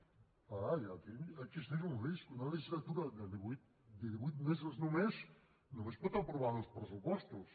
clar aquí existeix un risc una legislatura de divuit mesos només només pot aprovar dos pressupostos